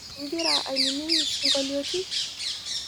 Igira ainining' isinkolioti?